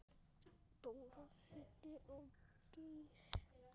Dóri, Siddi og Geir.